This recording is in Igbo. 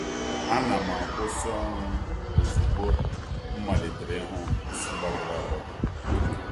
A na'm-akwụsị ọrụ ozugbo m malitere ịhụ isi gbagọrọ agbagọ.